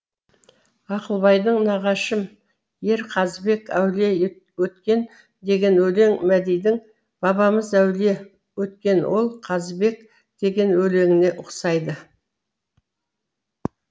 ақылбайдың нағашым ер қазыбек әулие өткен деген өлеңі мәдидің бабамыз әулие өткен ол қазыбек деген өлеңіне ұқсайды